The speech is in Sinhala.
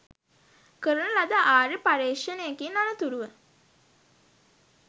කරන ලද ආර්ය පර්යේෂණයකින් අනතුරුව